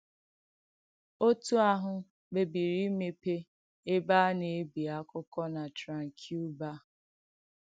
Ọ̀tù àhụ̄ kpèbìrì ìmèpé èbè a na-èbì àkụ̀kọ̀ na Tranquebar.